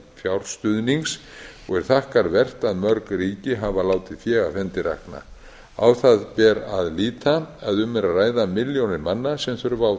fjárstuðnings og er þakkarvert að mörg ríki hafa látið fé af hendi rakna á það ber að líta að um er að ræða milljónir manna sem þurfa á